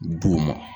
B'o ma